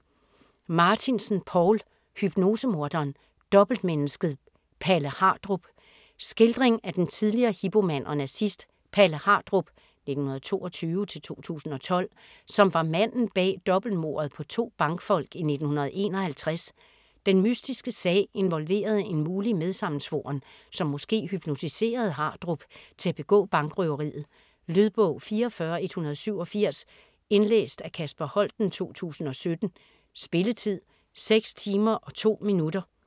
Martinsen, Poul: Hypnosemorderen - dobbeltmennesket Palle Hardrup Skildring af den tidligere Hipo-mand og nazist Palle Hardrup (1922-2012), som var manden bag dobbeltmordet på to bankfolk i 1951. Den mystiske sag involverede en mulig medsammensvoren, som måske hypnotiserede Hardrup til at begå bankrøveriet. Lydbog 44187 Indlæst af Kasper Holten, 2017. Spilletid: 6 timer, 2 minutter.